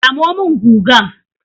Samo min gugan!